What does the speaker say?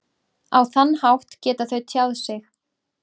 Á þann hátt geta þau tjáð sig.